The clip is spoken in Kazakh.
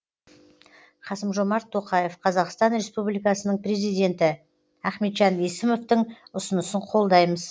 қасым жомарт тоқаев қазақстан республикасының президенті ахметжан есімовтің ұсынысын қолдаймыз